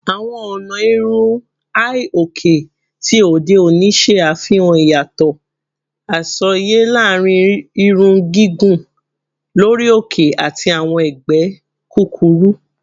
Awọn ọna irun hi-oke ti ode oni ṣe afihan iyatọ asọye laarin irun gigun lori oke ati awọn ẹgbẹ kukuru